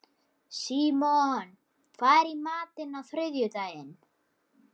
Símon, hvað er í matinn á þriðjudaginn?